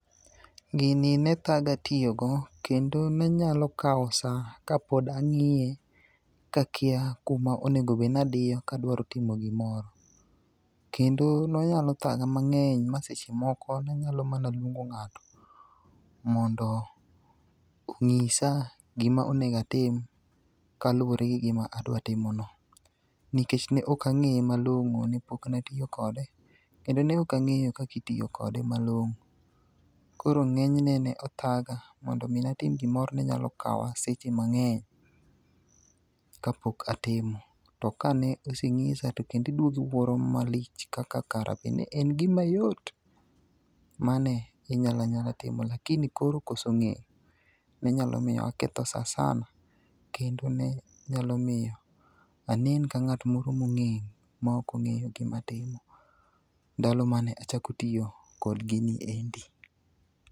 Gini nethaga tiyogo kendo nenyalo kao sa kapod ang'iye, kakia kuma onego obed ni adiyo ka adwa timo gimoro. Kendo nonyalo thaga mang'eny ma seche moko nanyalo mana luongo ng'ato mondo ong'isa gima onego atim kaluwore gi gima adwa timono. Nikech ne ok ang'eye malong'o nepok atiyo kode, kendo ne ok ang'eyo kaka itiyo kode malong'o. Koro ng'enyne ne othaga, mondo mi natim gimoro ne nyalo kawa seche mang'eny kapok atimo. To kane osenyisa to kendo iduogo iwuoro malich kaka kare en gimayot mane inyalanyala timo lakini koro koso ng'eyo, ne nyalo miyo aketho sa sana kendo ne nyalo miyo anen ka ng'at moro mong'eng' ma ok ong'eyo gima timo, ndalo mane achako tiyo kod gini endi.